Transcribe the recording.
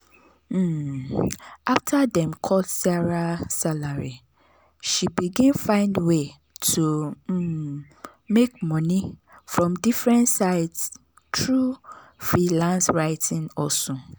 um after dem cut sarah salary she begin find way to um make money from different sides through freelance writing hustle.